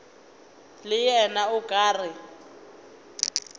le yena o ka re